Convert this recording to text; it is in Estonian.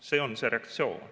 See on see reaktsioon.